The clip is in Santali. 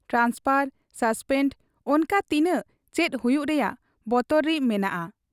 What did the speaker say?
ᱴᱨᱟᱱᱥᱯᱷᱚᱨ, ᱥᱚᱥᱯᱮᱸᱰ ᱚᱱᱠᱟ ᱛᱤᱱᱟᱹᱜ ᱪᱮᱫ ᱦᱩᱭᱩᱜ ᱨᱮᱭᱟᱜ ᱵᱚᱛᱚᱨᱤᱨ ᱢᱮᱱᱟᱜ ᱟ ᱾